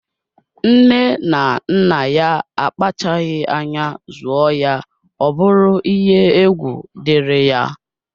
Nne na nna ya akpachaghi anya zụọ ya ọbụrụ iye egwu diri ya.